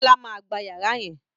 Bíọ́là máa gba yàrá yẹn